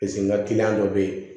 Paseke n ka dɔ bɛ yen